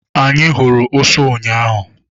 Anyị hụrụ ụsụ ụnyaahụ.